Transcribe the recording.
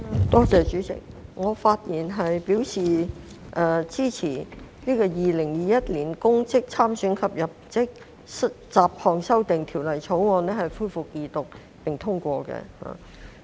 代理主席，我發言支持《2021年公職條例草案》恢復二讀並通過。